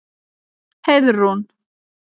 Heiðrún